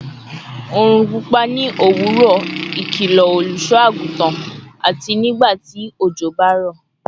orun pupa ni owuro, ikilo oluso-agutan," ati "Nigbati ojo ba ro